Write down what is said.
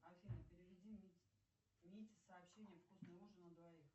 афина переведи мите сообщение вкусный ужин на двоих